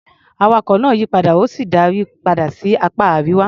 Awakọ̀ náà yí padà, ó sì darí padà sí apá Àríwá.